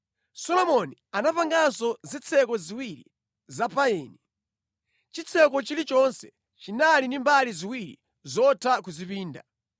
Solomoni anapanganso zitseko ziwiri za payini. Chitseko chilichonse chinali ndi mbali ziwiri zotha kuzipinda.